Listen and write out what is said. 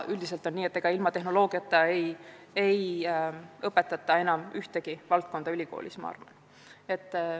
Ilma tehnoloogiakomponendita ei õpetata ülikoolides enam ühtegi eriala.